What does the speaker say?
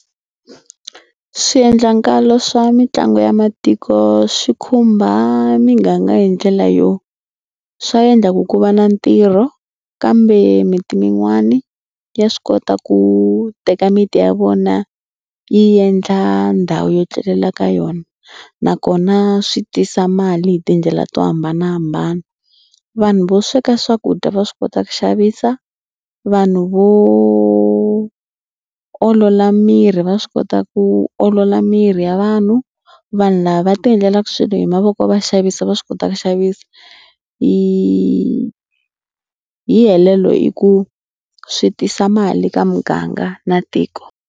Swiendlakalo swa mitlangu ya matiko swi khumba miganga hi ndlela yo swa endla ku ku va na ntirho kambe miti min'wana ya swi kota ku teka miti ya vona yi endla ndhawu yo tlelela ka yona nakona swi tisa mali hi tindlela to hambanahambana. Vanhu vo sweka swakudya va swi kota ku xavisa. Vanhu vo olola miri va swi kota ku olola miri ya vanhu. Vanhu lava va tiendlela swilo hi mavoko va xavisa va swi kota ku xavisa. Hi hi helelo hi ku swi tisa mali ka muganga na tiko.